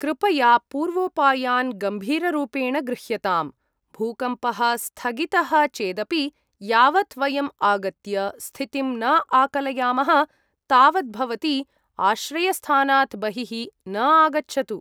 कृपया पूर्वोपायान् गम्भीररूपेण गृह्यताम्। भूकम्पः स्थगितः चेदपि यावत् वयं आगत्य स्थितिं न आकलयामः तावत् भवती आश्रयस्थानात् बहिः न आगच्छतु।